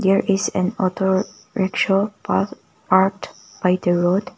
there is an auto rikshaw parked by the road.